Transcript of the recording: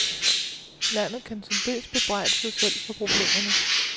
Landet kan til dels bebrejde sig selv for problemerne.